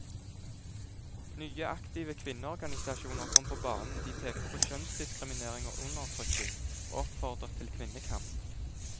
Nye, aktive kvinneorganisasjoner kom på banen, de pekte på kjønnsdiskriminering og undertrykking, og oppfordret til kvinnekamp.